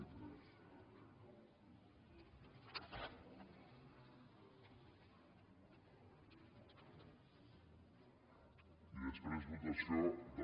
i després votació del